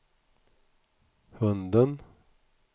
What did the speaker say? hunden